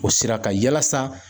O sira kan yalasa.